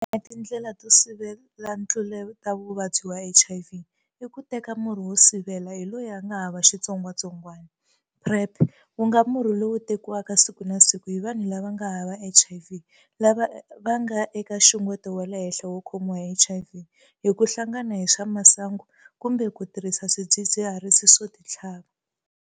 Yin'wana ya tindlela to sivela ntluletavuvabyi wa HIV i ku teka Murhi wo Sivela hi loyi a nga Hava Xitsongwatsong wana, PrEP, ku nga murhi lowu tekiwaka siku na siku hi vanhu lava nga hava HIV lava nga eka nxungeto wa le henhla wo khomiwa hi HIV, hi ku hla ngana hi swa masangu, kumbe ku tirhisa swidzidziharisi swo titlhava.